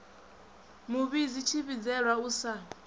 mu vhidzi tshivhidzelwa u sa